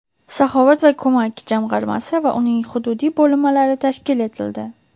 "Saxovat va ko‘mak" jamg‘armasi va uning hududiy bo‘linmalari tashkil etildi.